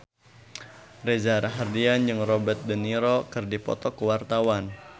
Reza Rahardian jeung Robert de Niro keur dipoto ku wartawan